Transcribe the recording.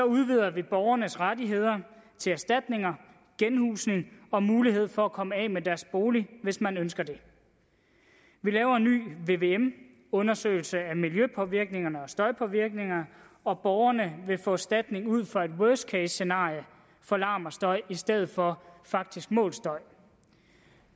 udvider vi borgernes rettigheder til erstatninger genhusning og mulighed for at komme af med deres bolig hvis man ønsker det vi laver en ny vvm undersøgelse af miljøpåvirkningerne og støjpåvirkningerne og borgerne vil få erstatning ud fra et worst case scenarie for larm og støj i stedet for faktisk målt støj